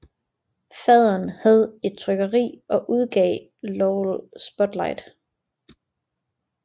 Faderen havde et trykkeri og udgav Lowell Spotlight